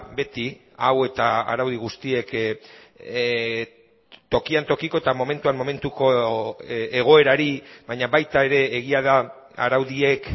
beti hau eta araudi guztiek tokian tokiko eta momentuan momentuko egoerari baina baita ere egia da araudiek